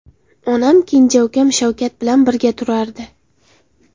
Onam kenja ukam Shavkat bilan birga turardi.